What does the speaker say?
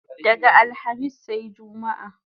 Daga alhamis sai jumma